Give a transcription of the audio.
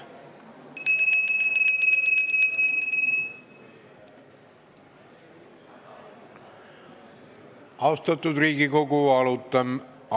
Austatud Riigikogu!